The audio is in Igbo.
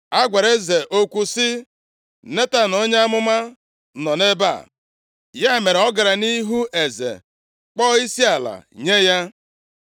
A gwara eze okwu sị, “Netan onye amụma nọ nʼebe a.” Ya mere, ọ gara nʼihu eze kpọọ isiala nye ya.